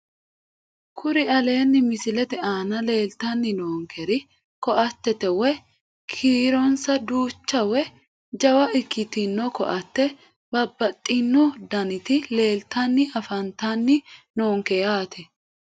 Kuri aleenni misilete aana leeltanni noonkeri ko"attete woyi kiironsa duucha woyi jawa ikkitino ko"atte babbaxxino daniti leeltanni afantanni noonke yaate